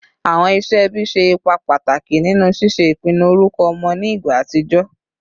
Awọn iṣẹ ẹbi ṣe ipa pataki ninu ṣiṣe ipinnu orukọ ọmọ ni igba atijọ